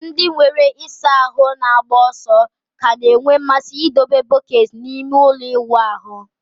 Ndị nwere ịsa ahụ na-agba ọsọ ka na-enwe mmasị ịdebe bọket n'ime ụlọ ịwụ ahụ